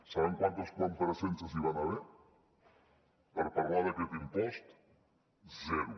saben quantes compareixences hi van haver per parlar d’aquest impost zero